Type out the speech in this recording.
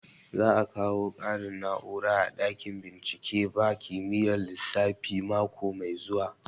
Za a kawo ƙarin na'ura a ɗakin bincike ba kimiyyar lissafi mako mai zuwa